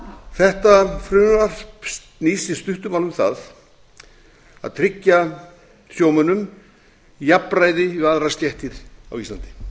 þetta frumvarp snýst í stuttu máli um það að tryggja sjómönnum jafnræði við aðrar stéttir á íslandi